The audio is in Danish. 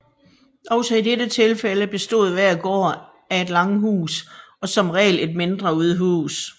Også i dette tilfælde bestod hver gård af et langhus og som regel et mindre udhus